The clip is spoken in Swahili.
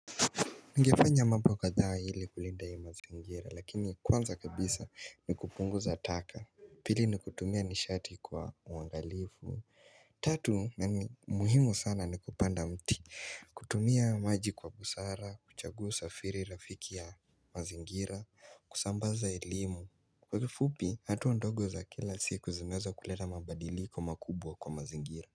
Ningefanya mambo kadhaa ili kulinda mazingira lakini kwanza kabisa ni kupunguza taka Pili ni kutumia nishati kwa uangalifu Tatu na ni muhimu sana ni kupanda mti kutumia maji kwa busara, kuchagua usafiri rafiki ya mazingira, kusambaza elimu Kwa kifupi hatua ndogo za kila siku zimeweza kuleta mabadiliko makubwa kwa mazingira.